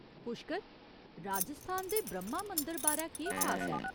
पुश्कर, राजस्थान दे ब्रह्मा मंदर बारै केह् खास ऐ?